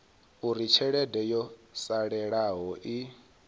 uri tshelede yo salelaho i